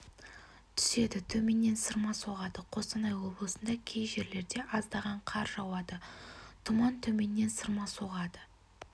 түседі төменнен сырма соғады қостанай облысында кей жерлерде аздаған қар жауады тұман төменнен сырма соғады